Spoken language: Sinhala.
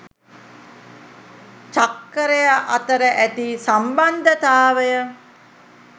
චක්කරය අතර ඇති සම්බන්ධතාවය